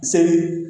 Seli